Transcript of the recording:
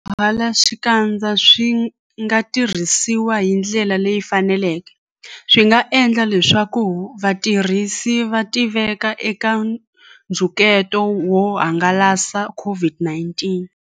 Loko swipfalaxikandza swi nga tirhisiwi hi ndlela leyi faneleke, swi nga endla leswaku vatirhisi va tiveka eka nxungeto wo hangalasa COVID-19.